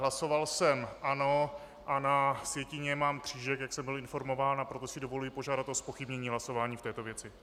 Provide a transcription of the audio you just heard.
Hlasoval jsem ano, a na sjetině mám křížek, jak jsem byl informován, a proto si dovoluji požádat o zpochybnění hlasování v této věci.